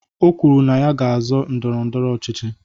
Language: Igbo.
O kwuru na ya ga-azọ ndọrọ ndọrọ ọchịchị.